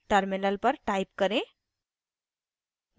terminal पर type करें: